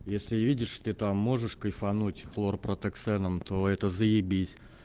если видишь ты там можешь кайфануть хлорпротиксеном то это заебись